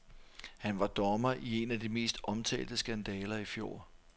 Han var dommer i en af de mest omtalte skandaler i fjor.